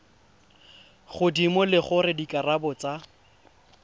godimo le gore dikarabo tsa